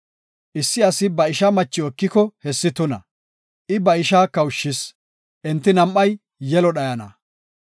Issi asi ba ishaa machiw ekiko, hessi tuna. I ba ishaa kawushis; enti nam7ay yelo dhayana.